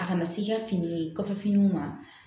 A kana se i ka fini kɔfɛ finiw ma